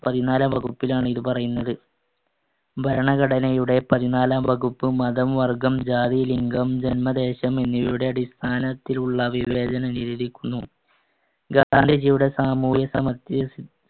പതിനാലാം വകുപ്പിലാണ് ഇത് പറയുന്നത്. ഭരണഘടനയുടെ പതിനാലാം വകുപ്പ് മതം, വർഗ്ഗം, ജാതി, ലിംഗം, ജന്മദേശം എന്നിവയുടെ അടിസ്ഥാനത്തിൽ ഉള്ള വിവേചനം നിരോധിക്കുന്നു. ഗാന്ധിജിയുടെ സാമൂഹിക സമത്യ സി~